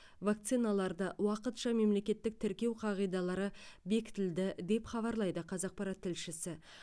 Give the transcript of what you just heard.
вакциналарды уақытша мемлекеттік тіркеу қағидалары бекітілді деп хабарлайды қазақпарат тілшісі